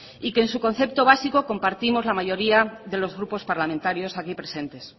y que en su concepto básico compartimos la mayoría de los grupos parlamentarios aquí presentes